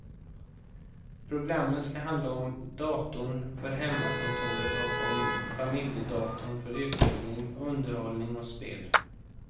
Programmen skall handla om datorn för hemmakontoret och om familjedatorn för utbildning, underhållning och spel.